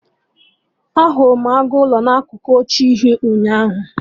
Ahụrụ m agụ ụlọ na akụkụ oche uhie, ụnyaahụ